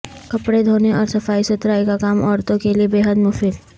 کپڑے دھونے اور صفائی ستھرائی کا کام عورتوں کیلئے بیحد مفید